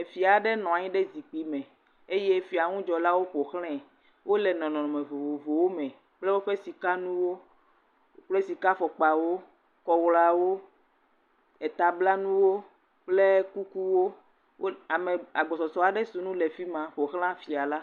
Efia aɖe nɔ anyi ɖe zikpui me eye fiaŋudzɔlawo ƒo xlãe eye wole nɔnɔme vovovowo me kple woƒe sikanuwo, kple sikafɔkpawo, kɔɣlawo etablanuwo, kple kukuwo. Ame agbɔsɔsɔ aɖe si nu le afi ma ƒoxlã fia la.